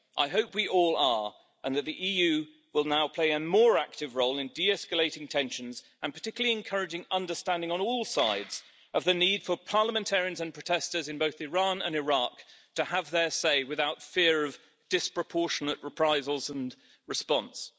I hope we all are, and that the EU will now play a more active role in de escalating tensions and particularly encouraging understanding on all sides of the need for parliamentarians and protesters in both Iran and Iraq to have their say, without fear of disproportionate reprisals and response.